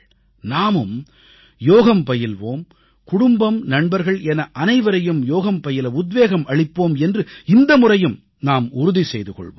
நாமும் யோகம் பயில்வோம் குடும்பம் நண்பர்கள் என அனைவரையும் யோகம் பயில உத்வேகம் அளிப்போம் என்று இந்த முறையும் நாம் உறுதி செய்து கொள்வோம்